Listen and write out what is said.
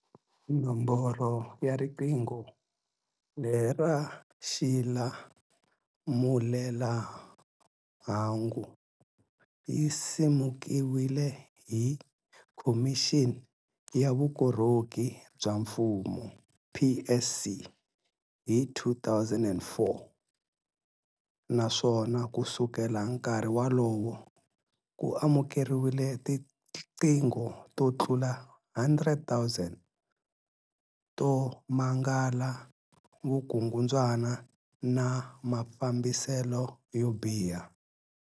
Nomboro ya riqingho lera xilamulelamhangu yi simekiwile hi Khomixini ya Vukorhoki bya Mfumo, PSC, hi 2004 naswona kusukela nkarhi wolowo, ku amukeriwile tiqingho to tlula 100 000 to mangala vukungundzwana na mafambiselo yo biha.